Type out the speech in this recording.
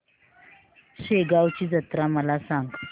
शेगांवची जत्रा मला सांग